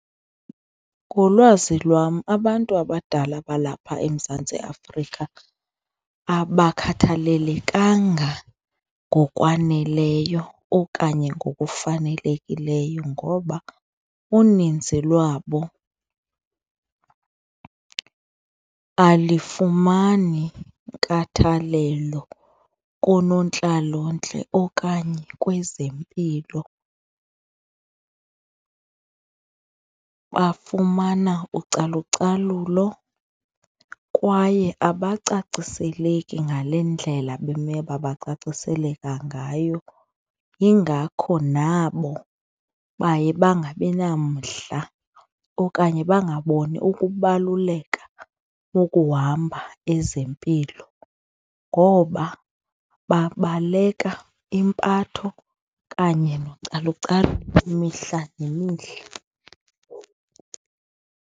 Ngolwazi lwam abantu abadala balapha eMzantsi Afrika abakhathalelekanga ngokwaneleyo okanye ngokufanelekileyo ngoba uninzi lwabo alifumani inkathalelo koonontlalontle okanye kwezempilo. Bafumana ucalucalulo kwaye abacacisele ngale ndlela bemele babacaciseleka ngayo, yingakho nabo baye bangabi namdla okanye bangaboni ukubaluleka bokuhamba ezempilo ngoba babaleka impatho kanye nocalucalulo imihla nemihla.